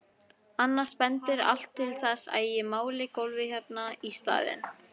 Annars bendir allt til þess að ég máli gólfið hérna í staðinn.